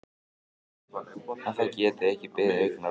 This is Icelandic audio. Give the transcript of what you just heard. Að það geti ekki beðið augnablik.